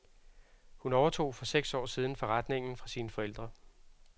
Hun overtog for seks år siden forretningen fra sine forældre.